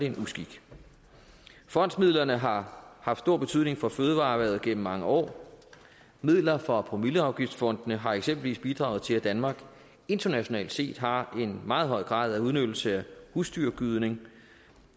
en uskik fondsmidlerne har haft stor betydning for fødevareerhvervet gennem mange år midler fra promilleafgiftsfondene har eksempelvis bidraget til at danmark internationalt set har en meget høj grad af udnyttelse af husdyrgødning